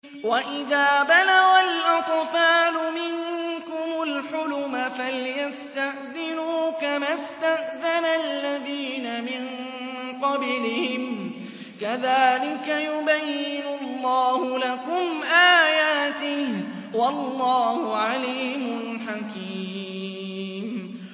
وَإِذَا بَلَغَ الْأَطْفَالُ مِنكُمُ الْحُلُمَ فَلْيَسْتَأْذِنُوا كَمَا اسْتَأْذَنَ الَّذِينَ مِن قَبْلِهِمْ ۚ كَذَٰلِكَ يُبَيِّنُ اللَّهُ لَكُمْ آيَاتِهِ ۗ وَاللَّهُ عَلِيمٌ حَكِيمٌ